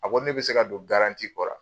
A ko ne be se ka don kɔrɔ